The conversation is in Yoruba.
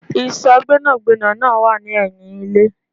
Ìsò Gbẹ́nàgbẹ́nà náà wá ni ẹyin ilé